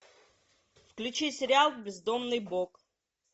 включи сериал бездомный бог